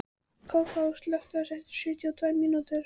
Kókó, slökktu á þessu eftir sjötíu og tvær mínútur.